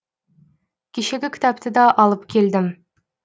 кешегі кітапты да алып келдім